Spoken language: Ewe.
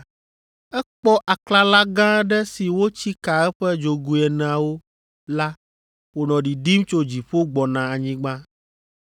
Ekpɔ aklala gã aɖe si wotsi ka eƒe dzogoe eneawo la wònɔ ɖiɖim tso dziƒo gbɔna anyigba.